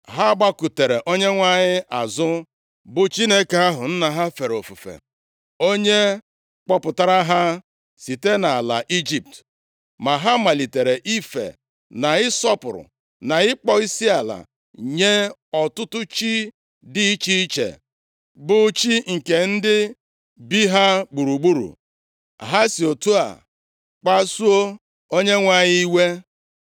Ha gbakụtara Onyenwe anyị azụ, bụ Chineke ahụ, nna ha fere ofufe, onye kpọpụtara ha site nʼala Ijipt. Ma ha malitere ife na ịsọpụrụ, na ịkpọ isiala nye ọtụtụ chi dị iche iche, bụ chi nke ndị bi ha gburugburu. Ha si otu a kpasuo Onyenwe anyị iwe.